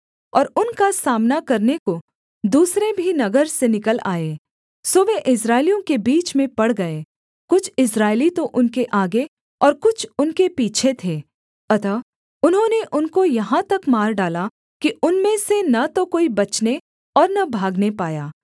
और उनका सामना करने को दूसरे भी नगर से निकल आए सो वे इस्राएलियों के बीच में पड़ गए कुछ इस्राएली तो उनके आगे और कुछ उनके पीछे थे अतः उन्होंने उनको यहाँ तक मार डाला कि उनमें से न तो कोई बचने और न भागने पाया